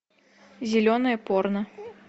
зеленое порно